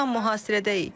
Tam mühasirədəyik.